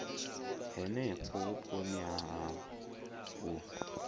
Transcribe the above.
henefho vhuponi ha havho u